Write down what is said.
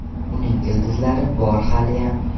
Uning ildizlari bor haliyam.